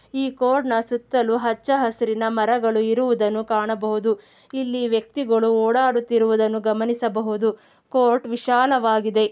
ಈ ಕೋರ್ಟ್ಹ ನ ಸುತಲು ಹಚ್ಚ ಹಸಿರು ಮರಗಳ್ಳನಿರೋದನ್ನ ಕಾಣಬಹುದು ಇಲ್ಲಿ ವಕ್ತಿಗಳು ಓಡಾಡ್ತಿರೋದನ್ನ ಗಮನಿಸ ಬಹುದು ಕೋರ್ಟ್ ವಿಶಾಲ ವಾಗಿದೆ.